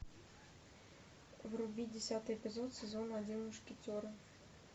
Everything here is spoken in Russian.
вруби десятый эпизод сезона один мушкетеры